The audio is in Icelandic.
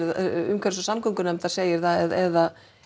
umhverfis og samgöngunefndar segir það eða